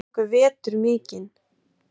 Þeir fengu vetur mikinn.